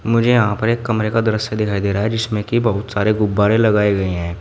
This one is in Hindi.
मुझे यहां पर एक कमरे का दृश्य दिखाई दे रहा है जिसमें की बहुत सारे गुब्बारे लगाए गए हैं।